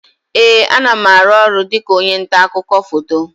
Ee, a na m aru ọrụ dịka onye nta akụkọ foto